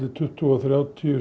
tuttugu og þrjátíu